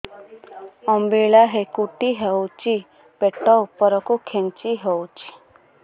ଅମ୍ବିଳା ହେକୁଟୀ ହେଉଛି ପେଟ ଉପରକୁ ଖେଞ୍ଚି ହଉଚି